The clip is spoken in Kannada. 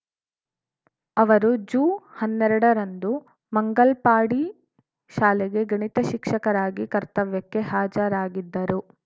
ಅವರು ಜುಹನ್ನೆರಡರಂದು ಮಂಗಲ್ಪಾಡಿ ಶಾಲೆಗೆ ಗಣಿತ ಶಿಕ್ಷಕರಾಗಿ ಕರ್ತವ್ಯಕ್ಕೆ ಹಾಜರಾಗಿದ್ದರು